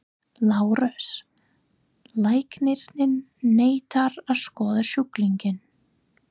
LÁRUS: Læknirinn neitar að skoða sjúklinginn.